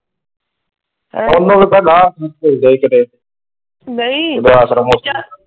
,